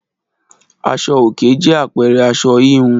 Aṣọ òkè jẹ́ àpẹẹrẹ aṣọ híhun